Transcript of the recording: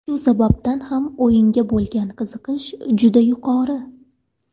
Shu sababdan ham o‘yinga bo‘lgan qiziqish juda yuqori.